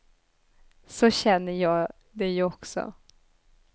Så känner jag det ju också.